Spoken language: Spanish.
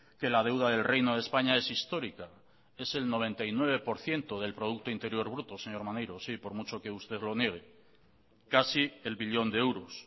que la deuda del reino de españa es histórica es el noventa y nueve por ciento del producto interior bruto señor maneiro sí por mucho que usted lo niegue casi el billón de euros